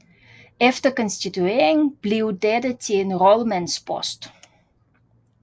Efter konstitueringen blev dette til en rådmandspost